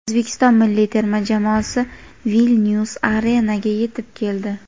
O‘zbekiston milliy tema jamoasi "Vilnyus arena"ga yetib keldi.